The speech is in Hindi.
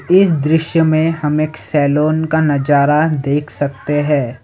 इस दृश्य में हम एक सैलॉन का नजारा देख सकते हैं।